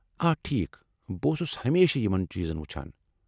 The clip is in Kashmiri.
آ ، ٹھیک ، بہٕ اوسُس ہمیشہٕ یمن چیز وُچھان ۔